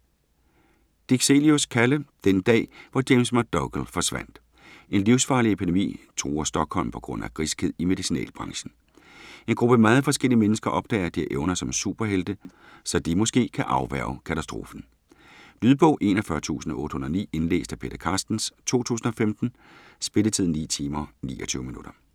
Dixelius, Kalle: Den dag, hvor James McDougal forsvandt En livsfarlig epidemi truer Stockholm på grund af griskhed i medicinalbranchen. En gruppe meget forskellige mennesker opdager, at de har evner som superhelte, så de måske kan afværge katastrofen. Lydbog 41809 Indlæst af Peter Carstens, 2015. Spilletid: 9 timer, 29 minutter.